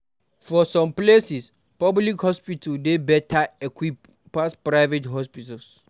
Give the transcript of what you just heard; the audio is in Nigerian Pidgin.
For some places, public hospitals dey better equipped pass private hospitals